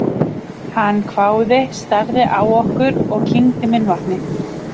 Hann hváði, starði á okkur og kyngdi munnvatni.